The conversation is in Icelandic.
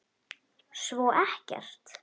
Svo ekkert.